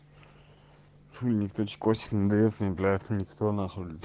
фу у них очко сильно даёт блять никто нахуй блять